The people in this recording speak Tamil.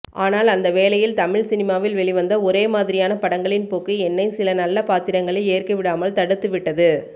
ஆனால் அந்த வேளையில் தமிழ் சினிமாவில் வெளிவந்த ஒரேமாதிரியான படங்களின் போக்கு என்னை சில நல்ல பாத்திரங்களை ஏற்கவிடாமல் தடுத்துவிட்டது